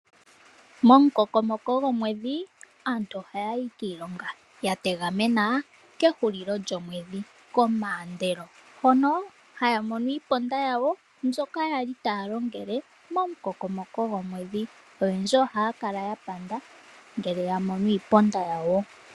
Momukokomoko gomwedhi aantu ohaya yi kiilonga yategamena kehulilo lyomwedhi, komaandelo, hono haya mono iiponda yawo mbyoka yali taya longele momukokomoko gomwedhi oyendji ohaya kala yapanda ngele yamono iiponda yawo.